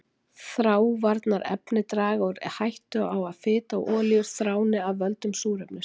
Þráavarnarefni draga úr hættu á að fita og olíur þráni af völdum súrefnis.